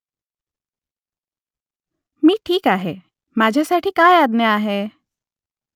मी ठीक आहे माझ्यासाठी काय आज्ञा आहे ?